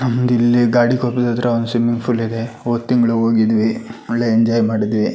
ನಮ್ದ್ ಇಲ್ಲಿ ಗಾಡಿಗ್ ಹೋಗೋದಾದ್ರೆ ಒಂದ್ ಸ್ವಿಮ್ಮಿಂಗ್ ಫೂಲ್ ಇದೆ ಹೋದ್ ತಿಂಗಳು ಹೋಗಿದ್ವಿ ಬಹಳ ಎಂಜಾಯ್ ಮಾಡಿದ್ವಿ--